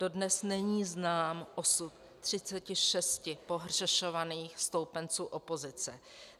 Dodnes není znám osud 36 pohřešovaných stoupenců opozice.